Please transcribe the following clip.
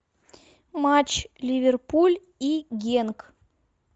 матч ливерпуль и генк